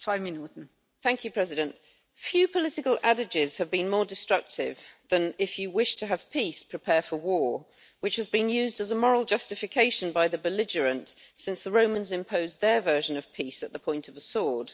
Madam President, few political adages have been more destructive than if you wish to have peace, prepare for war', which has been used as a moral justification by the belligerent since the Romans imposed their version of peace at the point of a sword.